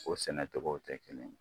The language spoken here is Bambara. O sɛnɛ togow tɛ kelen ye